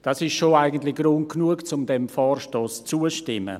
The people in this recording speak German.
Das ist eigentlich schon Grund genug, um diesem Vorstoss zuzustimmen.